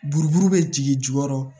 Buruburu bɛ jigin jukɔrɔ